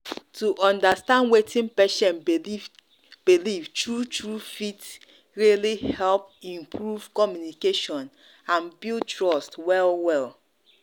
to understand wetin patient believe believe true-true fit really help improve communication and build trust well-well.